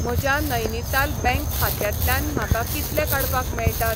म्हज्या नैनीताल बँक खात्यांतल्यान म्हाका कितले काडपाक मेळटात?